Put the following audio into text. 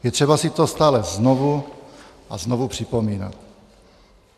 Je třeba si to stále znovu a znovu připomínat.